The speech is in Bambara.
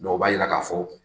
Bawo, o b'a yira k'a fɔ,